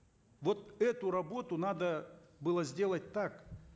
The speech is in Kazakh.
вот эту работу надо было сделать так